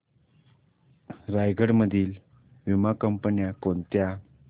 रायगड मधील वीमा कंपन्या कोणत्या